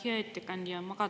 Hea ettekandja!